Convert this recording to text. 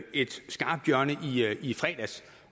et skarpt hjørne i fredags